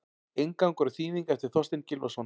Inngangur og þýðing eftir Þorstein Gylfason.